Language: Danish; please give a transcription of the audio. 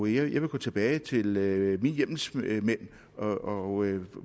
jeg vil gå tilbage til mine hjemmelsmænd og